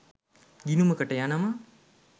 ගිණුමකට යනවා